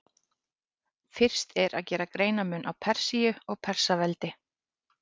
Fyrst er að gera greinarmun á Persíu og Persaveldi.